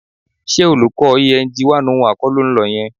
Ṣé olùkọ́ Eng 101 kọ́ ló ń lọ yẹn?